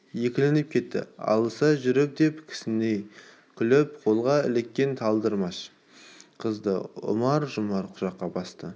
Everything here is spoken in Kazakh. екіленіп кетті алыса жүріп деп кісіней күліп қолға іліккен талдырмаш қызды ұмар-жұмар құшаққа басты